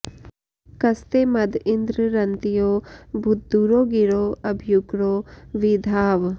कस्ते मद इन्द्र रन्त्यो भूद्दुरो गिरो अभ्युग्रो वि धाव